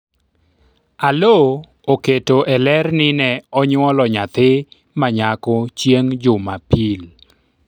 Aloo oketo e ler ni ne onyuolo nyathi manyako chieng' jumapil